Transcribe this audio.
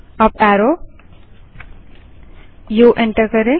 up arrow उ enter करें